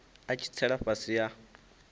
a tshi tsela fhasi ha